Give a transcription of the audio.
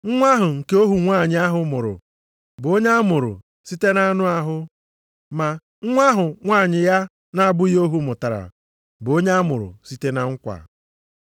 Nwa ahụ nke ohu nwanyị ahụ mụrụ bụ onye amụrụ site na anụ ahụ. Ma nwa ahụ nwunye ya na-abụghị ohu mụtara bụ onye a mụrụ site na nkwa.